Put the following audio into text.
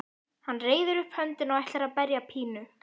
Hann reiðir upp höndina og ætlar að berja Pínu.